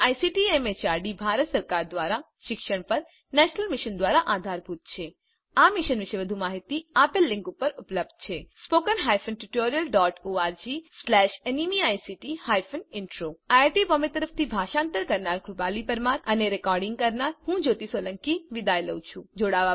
જે ICT MHRD Bharat સરકાર દ્વારા શિક્ષણ પર નેશનલ મિશન દ્વારા આધારભૂત છે આ મિશન વિશે વધુ માહીતી આ લીંક ઉપર ઉપલબ્ધ છે httpspoken tutorialorgNMEICT Intro IIT Bombay તરફથી ભાષાંતર કરનાર હું કૃપાલી પરમાર વિદાય લઉં છું